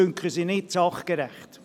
Uns dünken sie nicht sachgerecht.